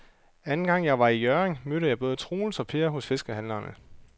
Anden gang jeg var i Hjørring, mødte jeg både Troels og Per hos fiskehandlerne.